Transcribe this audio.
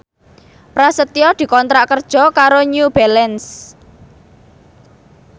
Prasetyo dikontrak kerja karo New Balance